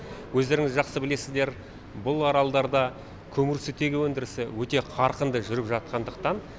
өздеріңіз жақсы білесіздер бұл аралдарда көмір сутегі өндірісі өте қарқынды жүріп жатқандықтан